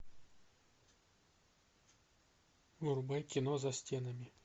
врубай кино за стенами